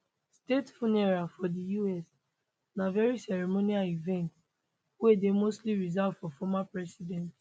state funeral for di us na very ceremonial event wey dey mostly reserved for former president